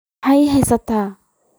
Ma ii xiistay?